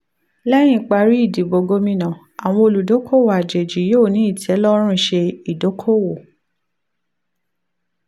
lẹ́yìn ìparí ìdìbò gómìnà àwọn olùdókòwò àjèjì yóò ní ìtẹ́lọ́rùn ṣe idoko-owo.